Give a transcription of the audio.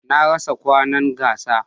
Na rasa kwanon gasa.